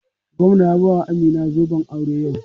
Gwamna ya bawa Amina zoben aure yau.